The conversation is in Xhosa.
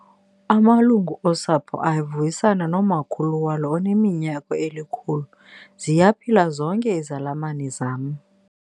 Amalungu osapho avuyisana nomakhulu walo oneminyaka elikhulu. ziyaphila zonke izalamane zam